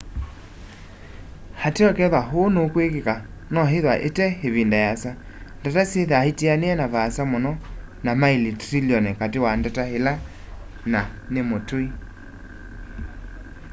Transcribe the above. ateo kethwa ũũ nũkwĩkĩka no ithwa ite ĩvĩnda yĩasa ndata syĩthaa itaanĩe na vaasa mũno na maili trĩlĩonĩ katĩ wa ndata ĩla nĩ mũtũĩ